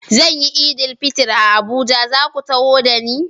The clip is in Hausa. Zan yi Eid-el-Fitr a Abuja, za ku taho da ni?